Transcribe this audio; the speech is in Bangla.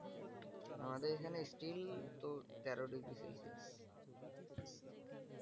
আমাদের এখানে still তো তেরো degree celsius ।